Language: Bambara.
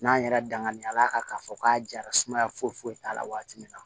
N'an yɛrɛ danganiya ka fɔ k'a jara sumaya foyi foyi t'a la waati min na